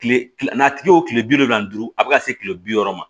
Kile kile n'a tigi ye o tile bi naani ni duuru a be ka se kile bi wɔɔrɔ ma